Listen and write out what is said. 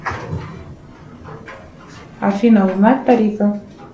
афина узнать тарифы